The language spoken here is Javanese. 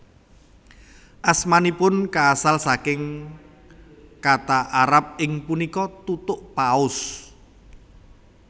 Asmanipun kaasal saking kata Arab ing punika Tutuk paus